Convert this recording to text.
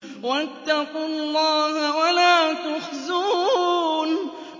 وَاتَّقُوا اللَّهَ وَلَا تُخْزُونِ